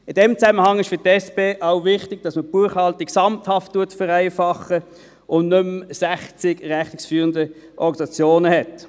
In diesem Zusammenhang ist für die SP auch wichtig, dass man die Buchhaltung gesamthaft vereinfacht und nicht mehr sechzig rechnungsführende Organisationen hat.